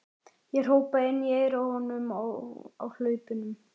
Ég hrópaði inn í eyrað á honum á hlaupunum.